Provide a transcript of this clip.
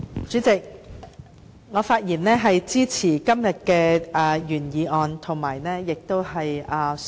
主席，我發言支持今天的原議案。